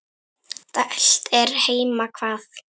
dælt er heima hvað.